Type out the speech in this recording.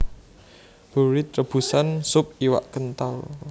Bourride rebusan sup iwak kental